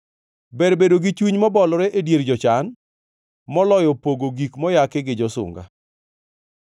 Ber bedo gi chuny mobolore e dier jochan, moloyo pogo gik moyaki gi josunga.